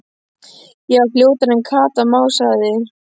Ég var fljótari en Kata, másaði